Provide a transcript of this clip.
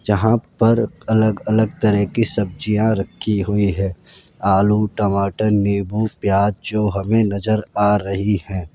जहां पर अलग अलग तरह की सब्जियां रखी हुई है आलू टमाटर नींबू प्याज हमे नज़र आ रही है।